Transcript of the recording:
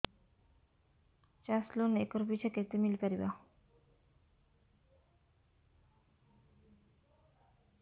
ଚାଷ loan acre ପିଛା କେତେ ମିଳି ପାରିବ